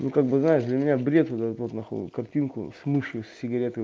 ну как бы знаешь для меня бред вот эту вот нахуй картинку с мышью с сигаретой